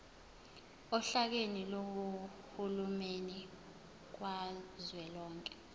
ohlakeni lukahulumeni kazwelonke